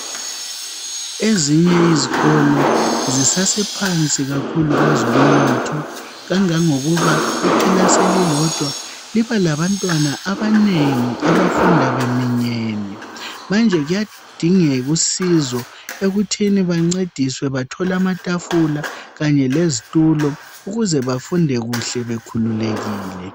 Ezinye uzikolo zisasephansi kakhulu kwezongomnotho. Kangangokuba ikilasi elilodwa libabantwana abanengi abayafunda beminyene. Manje kuyadingeka usizo ekuthini bancediswe bathole amatafula kanye lezitulo ukuze bafunde kuhle bekhululekile.